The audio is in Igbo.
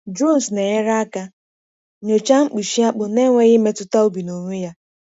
Drones na-enyere aka nyochaa mkpuchi akpụ n’enweghị imetụta ubi n’onwe ya.